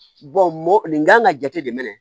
mɔ nin kan ka jate de minɛ